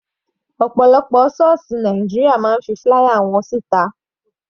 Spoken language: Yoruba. Ọ̀pọ̀lọpọ̀ sọ́ọ̀sì Nàìjíríà máa ń fi flier wọn sí ta.